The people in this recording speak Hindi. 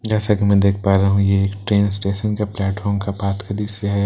जैसा की मैं देख पा रहा हूँ ये एक ट्रेन स्टेशन का प्लैटफॉर्म का पाथवे का दृश्य है पास--